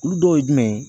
Olu dɔw ye jumɛn ye